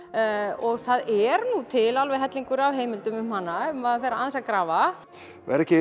og það er nú til alveg hellingur af heimildum um hana ef maður fer aðeins að grafa og er ekki